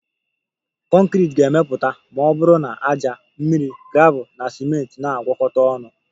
Conkriti ga-emepụta ma ọ bụrụ na ájá, mmiri, gravel na ciment na-agwakọta ọnụ